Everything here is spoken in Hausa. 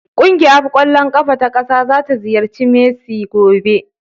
Ƙungiuaf ƙwallon ƙafa ta ƙasa zata ziyarci Messi gobe.